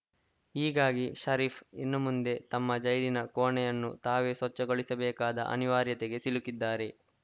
ಹೀಗಾಗಿ ಷರೀಫ್‌ ಇನ್ನು ಮುಂದೆ ತಮ್ಮ ಜೈಲಿನ ಕೋಣೆಯನ್ನು ತಾವೇ ಸ್ವಚ್ಛಗೊಳಿಸಬೇಕಾದ ಅನಿವಾರ್ಯತೆಗೆ ಸಿಲುಕಿದ್ದಾರೆ